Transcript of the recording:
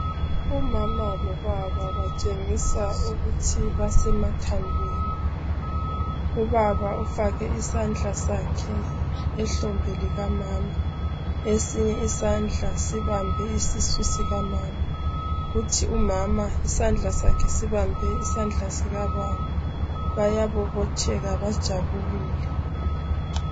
Umama lobaba batshengisa ukuthi basemathandweni ubaba ufake isandla sakhe ehlombe likamama esinye isandla sibambe isisu sikamama kuthi umama isandla sakhe sibambe isandla sikababa bayabobotheka bajabulile.